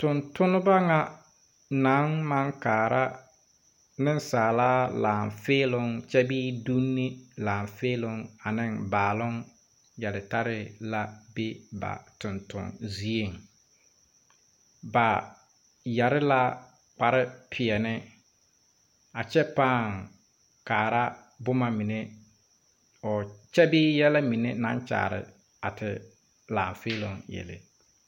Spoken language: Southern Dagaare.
Tungtumba nga nang mang kaara nunsaaliba laafee kye bee dunni laafee baalong yeltarre la bɛ ba tungtunzie ba yare la kpare piɛni a kye paa kaara buma mene kye bee yelɛ mene nang kyaare a te laafeelon yele.